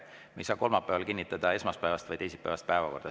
Me ei saa kolmapäeval kinnitada esmaspäevast või teisipäevast päevakorda.